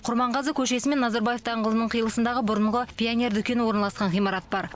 құрманғазы көшесі мен назарбаев даңғылының қиылысындағы бұрынғы пионер дүкені орналасқан ғимарат бар